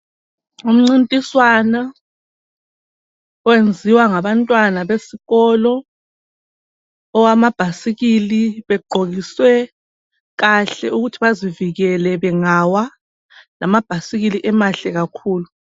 Umncintiswano owenziwa ngabantwana besikolo owamabhasikili begqokiswe kahle ukuthi bazivikele bengawa lamabhasikili emahle kakhulu.